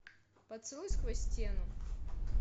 поцелуй сквозь стену